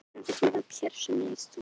Sú varð ekki raunin